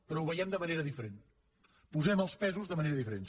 però ho veiem de manera diferent posem els pesos de manera diferent